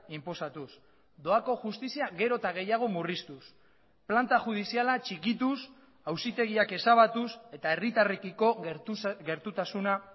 inposatuz doako justizia gero eta gehiago murriztuz planta judiziala txikituz auzitegiak ezabatuz eta herritarrekiko gertutasuna